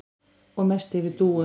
Og mest yfir Dúu.